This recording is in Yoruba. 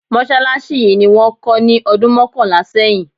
Mọ́ṣálásí yìí ni wón kó ní ọdún mọ́kànlá sẹ́yìn.